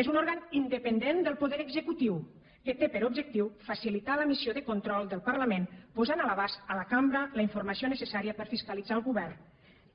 és un òrgan independent del poder executiu que té per objectiu facilitar la missió de control del parlament posant a l’abast de la cambra la informació necessària per fiscalitzar el govern